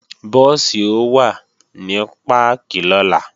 Búùsì ó wà ní páàkì lọ́la